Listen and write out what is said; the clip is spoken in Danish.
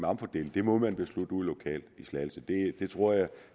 omfordeles det må man beslutte ude lokalt i slagelse det tror jeg